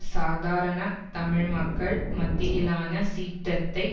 சாதாரண தமிழ் மக்கள் மத்தியிலான சீற்றத்தை